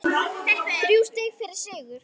Þrjú stig fyrir sigur